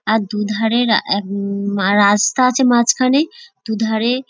আর দু ধারে রা আ রাস্তা আছে মাঝখানে দু ধারে।